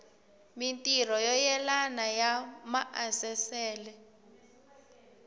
mintirho yo yelana ya maasesele